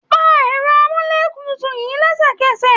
Pa ẹ̀rọ amúlétutù yìí lẹ́sẹ̀kẹsẹ̀.